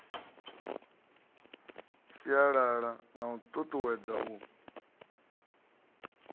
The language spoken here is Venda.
sialala na u tutuwedza u